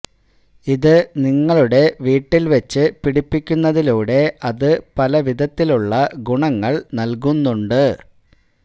ഇത് നിങ്ങളുടെ വീട്ടില് വെച്ചു പിടിപ്പിക്കുന്നതിലൂടെ അത് പല വിധത്തിലുള്ള ഗുണങ്ങള് നല്കുന്നുണ്ട്